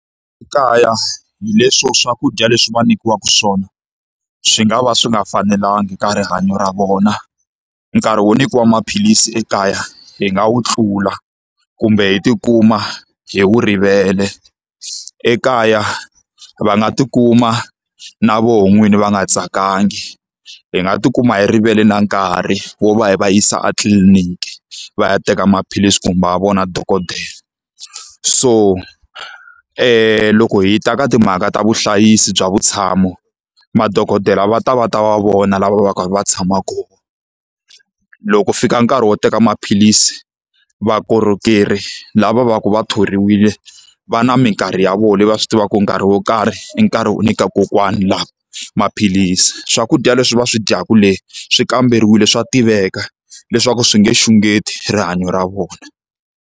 Ekaya hi leswo swakudya leswi va nyikiwaka swona, swi nga va swi nga fanelanga ka rihanyo ra vona. Nkarhi wo nyikiwa maphilisi ekaya hi nga wu tlula, kumbe hi ti kuma hi wu rivele. Ekaya va nga tikuma na vona n'wini va nga tsakangi, hi nga ti kuma hi rivele na nkarhi wo va hi va yisa etliliniki va ya teka maphilisi kumbe va vona dokodela. So loko hi ta ka timhaka ta vuhlayisi bya vutshamo, madokodela va ta va ta va vona laha va va ka va kha va tshama kona. Loko fika nkarhi wo teka maphilisi, vukorhokeri lava va ku va thoriwile va na minkarhi ya vona leyi va swi tivaka ku nkarhi wo karhi i nkarhi wo nyika kokwani lava maphilisi. Sswakudya leswi va swi dyaku le swi kamberiwile, swa tiveka leswaku swi nge xungeti rihanyo ra vona.